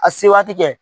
A se waati kɛ